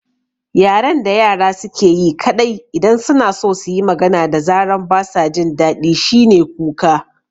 Yaren da yara suke yi kaɗai idan suna so suyi magana da zaran basa jin daɗi shine kuka